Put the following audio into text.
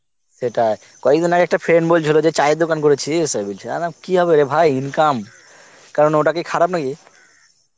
সেটাই, কয়েকদিন আগে একটা friend বলছিল যে ছয়ের দোকান করেছিস কি হবে রে ভাই income, কারণ ওটা কি খারাপ নাকি?